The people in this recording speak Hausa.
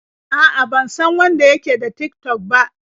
A'a, ban san wanda ya ke da Tik-tok ba.